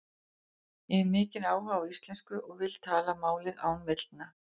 Ég hef mikinn áhuga á íslensku og ég vil tala málið án villna.